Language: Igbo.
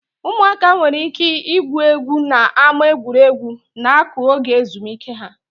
Ụmụaka nwere ike igwu egwu n'ámá egwuregwu na-akụ oge ezumike ha.